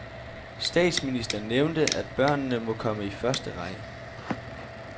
Statsminister nævnte, at børnene må komme i første række.